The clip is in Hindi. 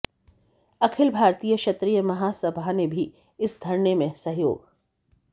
अखिल भारतीय क्षत्रिय महासभा ने भी इस धरने में सहयोग